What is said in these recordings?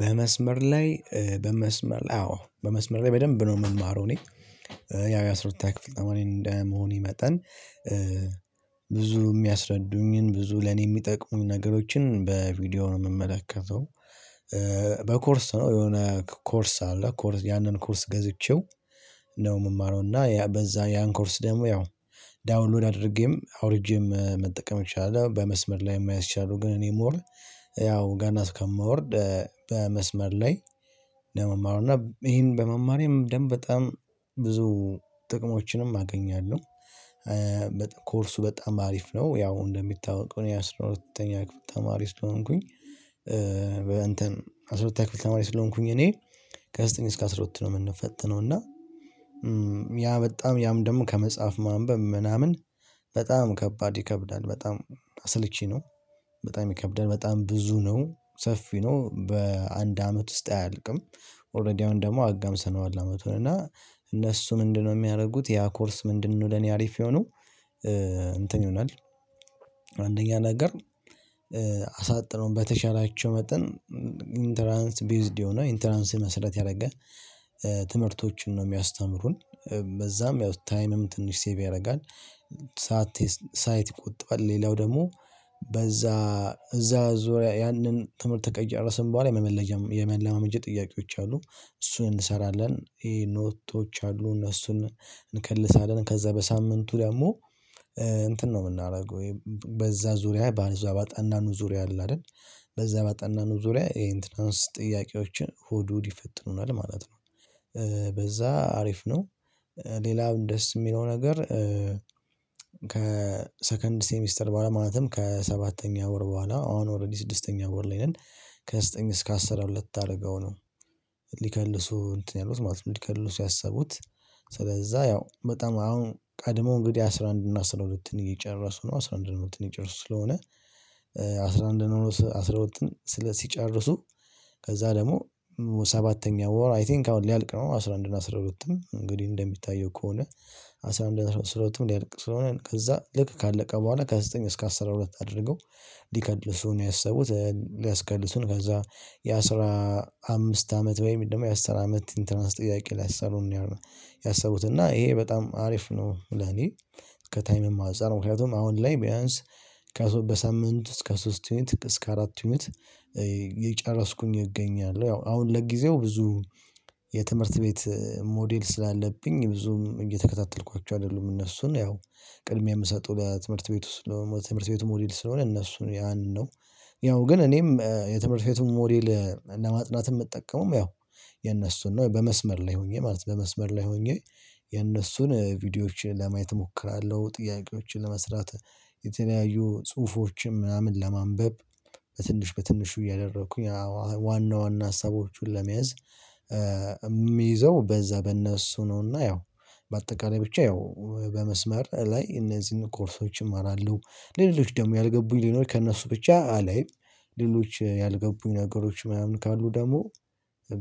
በመስመር ላይ በመስመር አዎ በመስመር ላይ በደንብ ነው የምማረው እኔ ያው የአስራ ሁለተኛ ክፍል ተማሪ እንደመሆኔ መጠን። ብዙ የሚያስረዱኝን ብዙ ለኔ የሚጠቅሙኝ ነገሮችን በቪዲዮ ነው የምመለከተው። በኮርስ ነው የሆነ ኮርስ አለ ኮርስ ያንን ኮርስ ገዝቼው ነው የምማረው እና በዛ ያን ኮርስ ደግሞ ያው ዳውንሎድ አድርጌም አውርጄም መጠቀም እችላለሁ። በመስመር ላይ ማየት እችላለሁ ግን እኔ ሞር ያው ገና እስከምወርድ በመስመር ላይ ለመማሩ እና ይሄን በመማሬም ደም በጣም ብዙ ጥቅሞችንም አገኛለሁ። ኮርሱ በጣም አሪፍ ነው ያው እንደሚታወቀው የአስራ ሁለተኛ ክፍል ተማሪ ስለሆንኩኝ። በእንትን አስራ ሁለተኛ ክፍል ተማሪ ስለሆንኩኝ እኔ ከዘጠኝ እስከ አስራ ሁለት ነው የምንፈትነው እና። ያ በጣም ያም ደግሞ ከመጽሐፍ ማንበብ ምናምን በጣም ከባድ ይከብዳል በጣም አስልቺ ነው በጣም ይከብዳል በጣም ብዙ ነው ሰፊ ነው በአንድ አመት ውስጥ አያልቅም። ኦረዲ አሁን ደግሞ አጋምሰነዋል አመቱን እና እነሱ ምንድነው የሚያደርጉት? ያ ኮርስ ምንድን ነው ለኔ አሪፍ የሆነው። እንትን ይሆናል። አንደኛ ነገር አሳጥረው በተሻላቸው መጠን ኢንተራንስ ቤዝድ የሆነ ኢንተራንስን መሰረት ያደረገ ትምህርቶችን ነው የሚያስተምሩን። በዛም ያው ታይምም ትንሽ ሴቭ ያደርጋል። ሰዓት ይቆጥባል ሌላው ደግሞ በዛ እዛ ዙሪያ ያንን ትምህርት ከጨረስን በኋላ የመለማመጃ ጥያቄዎች አሉ እሱን እንሰራለን። ኖቶች አሉ እነሱን እንከልሳለን። ከዛ በሳምንቱ ደግሞ እንትን ነው የምናደርገው ወይም በዛ ዙሪያ በዛ ባጠናነው ዙሪያ አለ አይደል በዛ ባጠናነው ዙሪያ የኢንትራንስ ጥያቄዎችን እሁድ እሁድ ይፈትኑናል ማለት ነው። በዛ አሪፍ ነው። ሌላም ደስ የሚለው ነገር ከሰከንድ ሴሚስተር በኋላ ማለትም ከሰባተኛ ወር በኋላ አሁን ኦሬዲ ስድስተኛ ወር ላይ ነን። ከዘጠኝ እስከ አስራ ሁለት አድርገው ነው። ሊከልሱ እንትን ያሉት ማለት ነው ሊከልሱ ያሰቡት። ስለዛ ያው በጣም አሁን ቀድሞ እንግዲህ አስራ አንድ እና አስራ ሁለትን እየጨረሱ ነው አስራ አንድ እና አስራ ሁለትን እጨረሱ ስለሆነ። አስራ አንድ እና አስራ ሁለትን ወጥን ሲጨርሱ። ከዛ ደግሞ ሰባተኛ ወር አይ ቲንክ አሁን ሊያልቅ ነው አስራ አንድ እና አስራ ሁለትም እንግዲህ እንደሚታየው ከሆነ። አስራ አንድ አስራ ሁለትም ሊያልቅ ስለሆነ ከዛ ልክ ካለቀ በኋላ ከዘጠኝ እስከ አስራ ሁለት አድርገው ሊከልሱ ነው ያሰቡት። ሊያስከልሱን ከዛ የአስራ አምስት አመት ወይም ደግሞ የአስር አመት ኢንተራንስ ጥያቄ ሊያሰሩን ነው። ያሰቡት እና ይሄ በጣም አሪፍ ነው። ለኔ ከታይምም አንፃር ምክንያቱም አሁን ላይ ቢያንስ ከሶስት በሳምንት እስከ ሶስት ዩኒት እስከ አራት ዩኒት እየጨረስኩኝ እገኛለሁ። ያው አሁን ለጊዜው ብዙ የትምህርት ቤት ሞዴል ስላለብኝ ብዙም እየተከታተልኳቸው አይደሉም። እነሱን ያው ቅድሚያ የምሰጠው በትምህርት ቤቱ ስለሆነ የትምህርት ቤቱ ሞዴል ስለሆነ እነሱ ያን ነው። ያው ግን እኔም የትምህርት ቤቱ ሞዴል ለማጥናት የምጠቀመው ያው የነሱን ነው። በመስመር ላይ ሆኜ ማለት ነው በመስመር ላይ ሆኜ የነሱን ቪዲዮዎችን ለማየት እሞክራለሁ። ጥያቄዎችን ለመስራት የተለያዩ ጽሁፎችን ምናምን ለማንበብ በትንሽ በትንሹ እያደረኩኝ ዋና ዋና ሀሳቦቹን ለመያዝ። የሚይዘው በዛ በእነሱ ነውና ያው በአጠቃላይ ብቻ ያው በመስመር ላይ እነዚህን ኮርሶች እማራለሁ። ሌሎች ደግሞ ያልገቡኝ ሊኖር ከእነሱ ብቻ አለኝ። ሌሎች ያልገቡኝ ነገሮች ምናምን ካሉ ደግሞ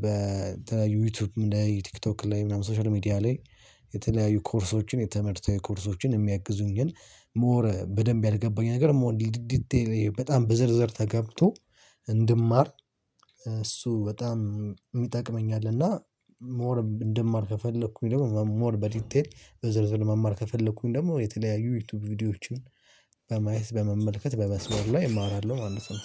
በተለያዩ ዩቲዩብ ቲክቶክ ላይ ምናምን ሶሻል ሚዲያ ላይ። የተለያዩ ኮርሶችን የትምህርታዊ ኮርሶችን የሚያግዙኝ ግን ሞር በደንብ ያልገባኝ ነገር ሞር ዲቴል በጣም በዝርዝር ተገብቶ እንድማር። እሱ በጣም ሚጠቅመኛልና። ሞር እንድማር ከፈለኩኝ ደግሞ ሞር በዲቴል በዝርዝር መማር ከፈለኩኝ ደግሞ የተለያዩ ዩቲዩብ ቪዲዮዎችን በማየት በመመልከት በመስመር ላይ እማራለሁ ማለት ነው።